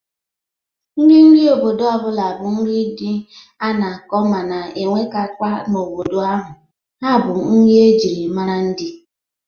Nri ndị obodo ọbụla bụ nri ndị a na-akọ mana enwetakwa n'obodo ahụ: ha bụ nri e jiri mara ndị.